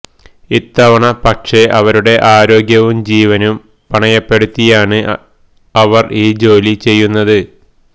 ഇത്തവണ പക്ഷെ അവരുടെ ആരോഗ്യവും ജീവനും പണയപ്പെടുത്തിയാണ് അവര് ഈ ജോലി ചെയ്യുന്നത്